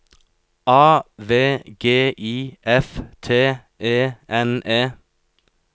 A V G I F T E N E